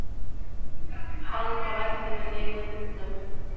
Hann var ekki með neina mynd af mér